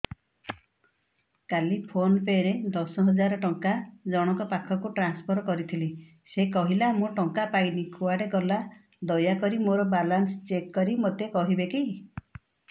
କାଲି PhonePe ରେ ଦଶ ହଜାର ଟଙ୍କା ଜଣକ ପାଖକୁ ଟ୍ରାନ୍ସଫର୍ କରିଥିଲି ସେ କହିଲା ମୁଁ ଟଙ୍କା ପାଇନି କୁଆଡେ ଗଲା ଦୟାକରି ମୋର ବାଲାନ୍ସ ଚେକ୍ କରି ମୋତେ କହିବେ କି